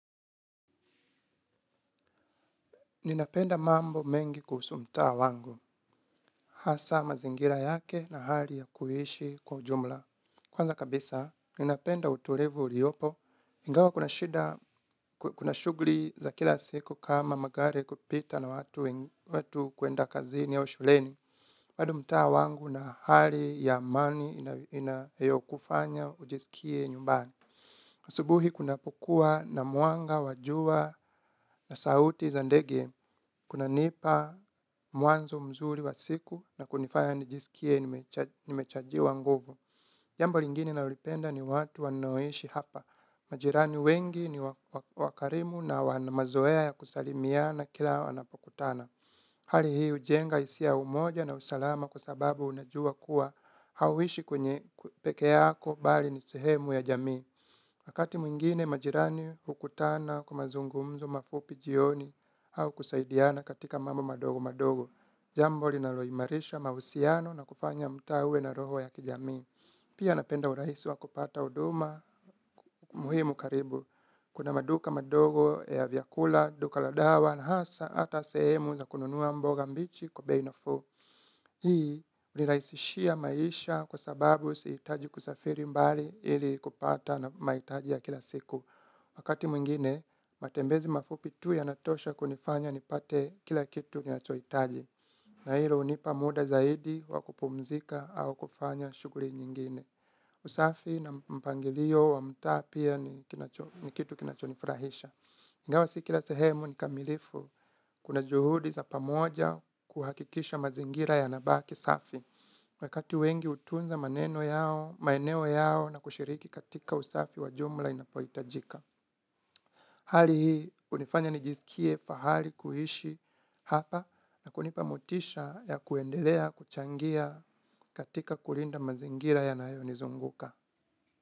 Ninapenda mambo mengi kuhusu mtaa wangu, hasa mazingira yake na hali ya kuishi kwa ujumla. Kwanza kabisa, ninapenda uturivu uliopo, ingawa kuna shida, kuna shugli za kila siku kama magari kupita na watu kuenda kazini au shuleni. Wadu mtaa wangu na hali ya amani inayokufanya ujisikie nyumbani. Asubuhi kunapokua na mwanga wa jua na sauti za ndege, kunanipa mwanzo mzuri wa siku na kunifanya nijisikie nimechajiwa nguvu. Jambo lingine naolipenda ni watu wanaoishi hapa. Majirani wengi ni wakarimu na wana mazoea ya kusalimiana kila wanapokutana. Hali hii ujenga isia ya umoja na usalama kwa sababu unajua kuwa hauishi pekee yako bali ni sehemu ya jamii. Wakati mwingine majirani hukutana kwa mazungumzo mafupi jioni au kusaidiana katika mambo madogo madogo. Jambo linaloimarisha mahusiano na kufanya mtaa uwe na roho ya kijamii. Pia napenda urahisi wa kupata uduma muhimu karibu. Kuna maduka madogo ya vyakula, duka la dawa na hasa ata sehemu za kununuwa mboga mbichi kwa bei nafuu. Hii niraisishia maisha kwa sababu siitaji kusafiri mbali ili kupata maitaji ya kila siku. Wakati mwingine, matembezi mafupi tu yanatosha kunifanya nipate kila kitu ninachoitaji. Na hilo unipa muda zaidi wa kupumzika au kufanya shuguri nyingine. Usafi na mpangilio wa mtaa pia ni kitu kinachonifurahisha. Ingawa si kila sehemu ni kamilifu kuna juhudi za pamoja kuhakikisha mazingira yanabaki safi. Wakati wengi utunza maeneo yao na kushiriki katika usafi wa jumla inapohitajika. Hali hii unifanya nijisikie fahari kuishi hapa na kunipa motisha ya kuendelea, kuchangia katika kulinda mazingira yanayo nizunguka.